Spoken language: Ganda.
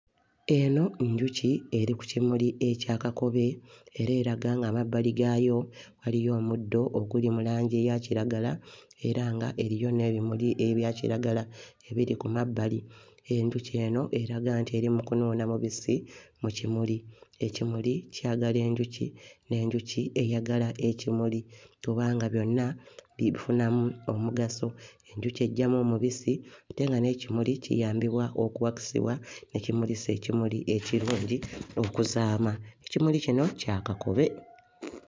Eno njuki eri ku kimuli ekya kakobe era eraga ng'amabbali gaayo waliyo omuddo oguli mu langi eya kiragala era nga eriyo n'ebimuli ebya kiragala ebiri ku mabbali. Enjuki eno eraga nti eri mu kunuuna mubisi mu kimuli. Ekimuli kyagala enjuki, n'enjuki eyagala ekimuli kubanga byonna bifunamu omugaso. Enjuki eggyamu omubisi ate nga n'ekimuli kiyambibwa okuwakisibwa ne kimulisa ekimuli ekirungi okuzaama. Ekimuli kino kya kakobe.